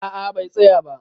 A'a, bai tsaya ba.